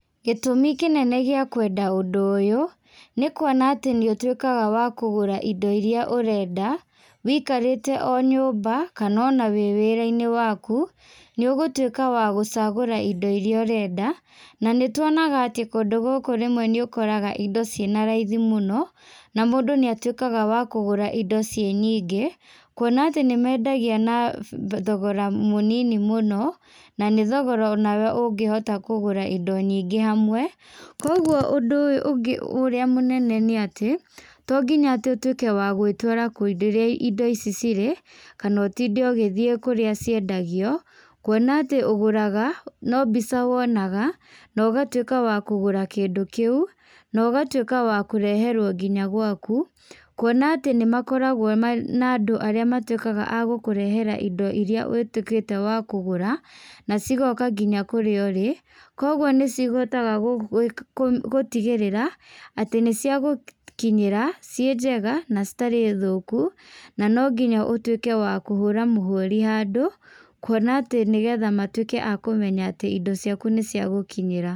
Gĩtumi kĩnene gĩa kwenda ũndũ ũyũ, nĩkuona atĩ nĩũtuĩkaga wa kũgũra indo iria ũrenda, wĩikarĩte o nyũmba kana ona wĩ wĩrainĩ waku, nĩũgũtuĩka wagũcagũra indo iria ũrenda, na nĩtuonaga atĩ kũndũ gũkũ rĩmwe nĩũkoraga indo cina raithi mũno, na mũndũ nĩatuĩkaga wa kũgũra indo ciĩ nyingĩ, kuona atĩ nĩmendagia na thogora mũnini mũno, na nĩthogora ona we ũngĩhota kũgũra indo nyingĩ hamwe. Koguo ũndũ ũyũ ũngĩ ũrĩa mũnene nĩ atĩ, tonginya atĩ ũtuike wa gwĩtwara kũndũ kũrĩa indo ici cirĩ, kana ũtinde ũgĩthiĩ kũrĩa ciendagio, kuona atĩ ũgũraga, no mbica wonaga, na ũgatuĩka wa kũgũra kĩndũ kĩu, na ũgatuĩka wa kũreherwo nginya gwaku, kuona atĩ nĩmakoragwo na andũ arĩa matuĩkaga agũkũrehera indo iria ũtuĩkĩte wa kũgũra, na cigoka nginya kũrĩa ũrĩ, koguo nĩcihotaga gũ kũ gũtigĩrĩra atĩ nĩciagũkinyĩra, ciĩ njega na citarĩ thũku, na nonginya ũtuĩke wa kũhũra mũhuri handũ, kuona atĩ nĩgetha matuĩke a kũmenya atĩ indo ciaku nĩciagũkinyĩra.